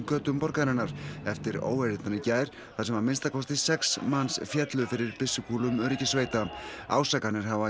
götum borgarinnar eftir óeirðirnar í gær þar sem að minnsta kosti sex manns féllu fyrir byssukúlum öryggissveita ásakanir hafa